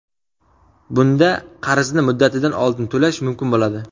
Bunda qarzni muddatidan oldin to‘lash mumkin bo‘ladi.